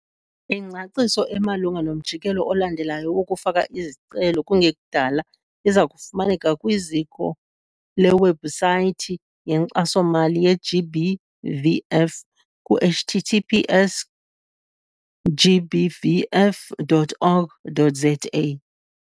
Ingcaciso emalunga nomjikelo olandelayo wokufaka izicelo kungekudala iza kufumaneka kwiziko lewebhusayithi yeNkxaso-mali ye-GBVF ku - https - gbvf dot org dot za.